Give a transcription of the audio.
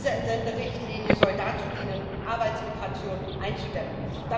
Diese Entsenderichtlinie soll dazu dienen, Arbeitsmigration einzudämmen.